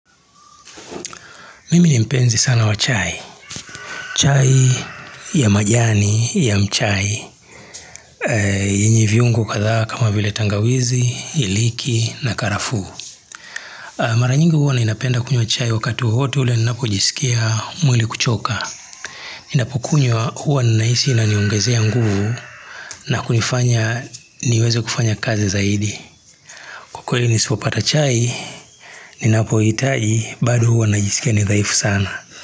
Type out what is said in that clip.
Mimi ni mpenzi sana wa chai. Chai ya majani ya mchai. Yenye viungo kadhaa kama vile tangawizi, iliki na karafuu. Mara nyingi huwa ninapenda kunywa chai wakati wowote ule ninapojisikia mwili kuchoka. Ninapokunywa huwa ninahisi inaniongezea nguvu na kunifanya niweze kufanya kazi zaidi. Kwa kweli nisipopata chai ninapoihitaji bado huwa najisikia mdhaifu sana.